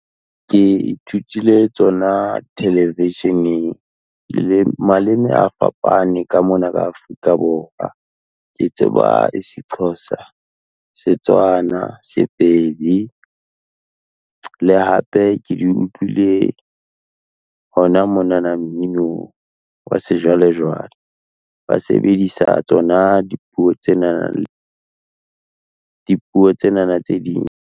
Ke ithutile tsona television-eng, le maleme a fapane ka mona ka Afrika Borwa. Ke tseba IsiXhosa, Setswana, Sepedi, le hape ke di utlwile hona monana mminong, wa sejwalejwale, ba sebedisa dipuo tsenana tse ding.